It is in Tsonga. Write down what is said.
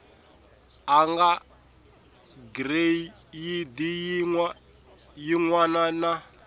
eka gireyidi yin wana na